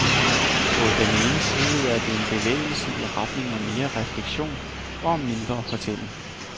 På den ene side er det en bevægelse i retning af mere refleksion og mindre fortælling.